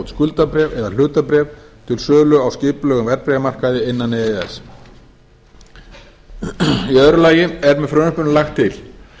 skuldabréf eða hlutabréf til sölu á skipulegum verðbréfamarkaði innan e e s í öðru lagi er með frumvarpinu lagt til